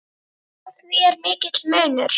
Á því er mikill munur.